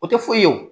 O tɛ foyi ye wo